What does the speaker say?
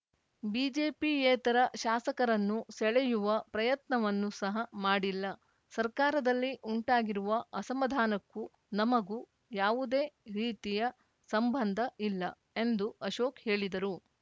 ಬಿಜೆಪಿಯೇತರ ಶಾಸಕರನ್ನು ಸೆಳೆಯುವ ಪ್ರಯತ್ನವನ್ನು ಸಹ ಮಾಡಿಲ್ಲ ಸರ್ಕಾರದಲ್ಲಿ ಉಂಟಾಗಿರುವ ಅಸಮಾಧಾನಕ್ಕೂ ನಮಗೂ ಯಾವುದೇ ರೀತಿಯ ಸಂಬಂಧ ಇಲ್ಲ ಎಂದು ಅಶೋಕ್‌ ಹೇಳಿದರು